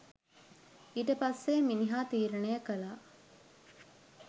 ඊට පස්සෙ මිනිහා තීරණය කළා